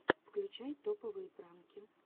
включай топовые пранки